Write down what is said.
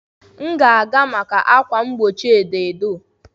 M ga-aga maka ákwà mgbochi edo edo.